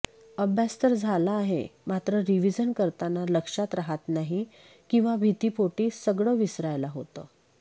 अभ्यास तर झाला आहे मात्र रिव्हिजन करताना लक्षात राहात नाही किंवा भीतीपोटी सगळं विसरायला होतं